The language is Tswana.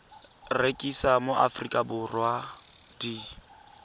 rekisiwa mo aforika borwa di